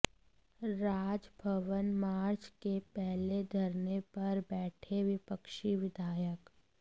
Raj Bhavan march के पहले धरने पर बैठे विपक्षी विधायक